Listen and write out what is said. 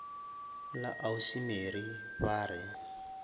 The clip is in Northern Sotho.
la ausi mary ba re